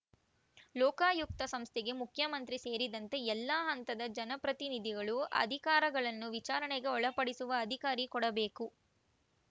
ಲೋಕಾಯುಕ್ತ ಸಂಸ್ಥೆಗೆ ಮುಖ್ಯಮಂತ್ರಿ ಸೇರಿದಂತೆ ಎಲ್ಲಾ ಹಂತದ ಜನಪ್ರತಿನಿಧಿಗಳು ಅಧಿಕಾರಿಗಳನ್ನು ವಿಚಾರಣೆಗೆ ಒಳಪಡಿಸುವ ಅಧಿಕಾರ ಕೊಡಬೇಕು